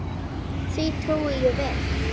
Því trúi ég vel.